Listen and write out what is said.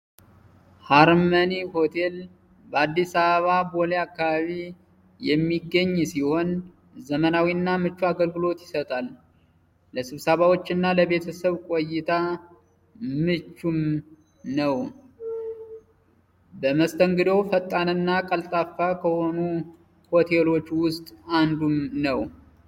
hotel በአዲስ አበባ ቦሌ አካባቢ የሚገኝ ሲሆን ዘመናዊና ምቹ አገልግሎት ይሰጣል ለስብሰባዎች እና ለቤተሰብ ቆይታ ምቹም ነው